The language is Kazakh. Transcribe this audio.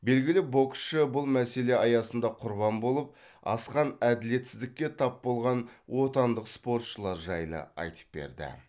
белгілі боксшы бұл мәселе аясында құрбан болып асқан әділетсіздікке тап болған отандық спортшылар жайлы айтып берді